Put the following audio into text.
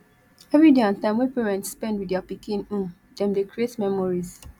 every day and time wey parents spend with their pikin um dem dey create memories